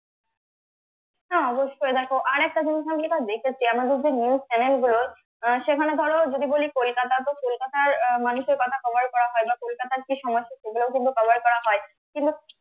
হ্যাঁ, অবশ্যই দেখো আরেকটা জিনিস থাকি বা দেখেছি আমাদের যে news channel গুলো আহ সেখানে ধরো যদি বলি কলকাতা তো কলকাতার আহ মানুষের কথা cover করা হয় বা কলকাতার যে সমস্ত program গুলো cover করা হয় কিন্তু